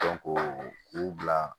u bila